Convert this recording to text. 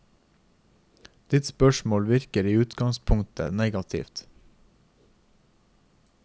Ditt spørsmål virker i utgangspunktet negativt.